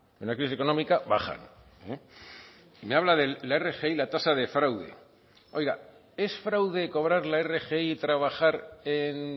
en una crisis económica bajan y me habla de la rgi la tasa de fraude oiga es fraude cobrar la rgi y trabajar en